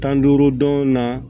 Tan ni duuru dɔn na